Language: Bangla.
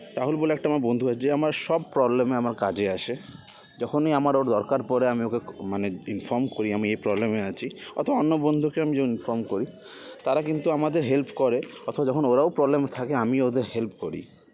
রাহুল বলে আমার একটা বন্ধু আছে যে আমার সব problem -এ আমার কাজে আসে যখনই আমার ওকে দরকার পরে আমি ওকে মানে inform করি আমি এই problem -এ আছি অথবা অন্য বন্ধুকে আমি যন inform করি তারা কিন্তু আমাদের help করে অথবা যখন ওরাও problem -এ থাকে আমি ও ওদের help করি